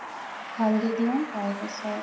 হালদি দিও তাৰপিছত